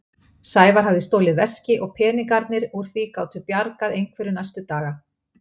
Sævar hafði stolið veski og peningarnir úr því gátu bjargað einhverju næstu daga.